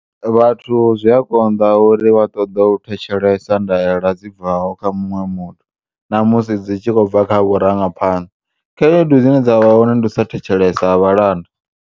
Vhathu zwia konḓa uri vha ṱoḓo u thetshelesa ndaela dzi bvaho kha muṅwe muthu, namusi tshi khobva kha vhurangaphanḓa, khaedu dzine dzavha hone ndi u sa thetshelesa ha vhalanda.